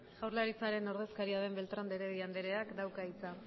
jaurlaritzaren ordezkaria den beltrán de heredia andereak dauka hitza